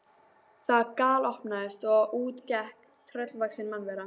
Það galopnaðist og út gekk tröllvaxin mannvera.